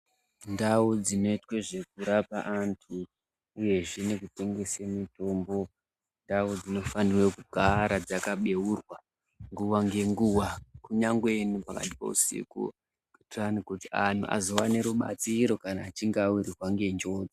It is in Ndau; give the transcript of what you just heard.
Ndau dzinoitwa zvekurapa antu uyezve nekutengesa mitombo, indau dzinofanira kugara dzakabeurwa nguwa nenguwa kunyangwe nepakati peusiku. Kuitira kuti antu azowana rubatsiro kana achnge awirwa nenjodzi.